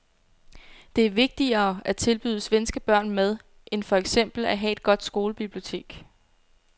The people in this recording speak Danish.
Det er vigtigere at tilbyde svenske børn mad end for eksempel at have et godt skolebibliotek.